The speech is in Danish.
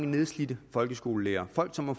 nedslidte folkeskolelærere folk som har